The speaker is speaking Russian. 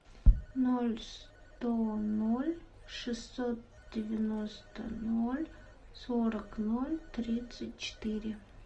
ноль сто ноль шестьсот девяносто ноль сорок ноль тридцать четыре